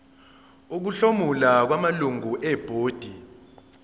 ukuhlomula kwamalungu ebhodi